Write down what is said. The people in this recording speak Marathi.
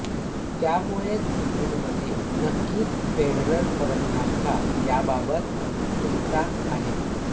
त्यामुळेच जूनमध्ये नक्कीच फेडरर परतणार का याबातत उत्सुकता आहे